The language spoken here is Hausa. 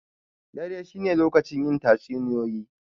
Dare shi ne lokacin yin tatsuniyoyi.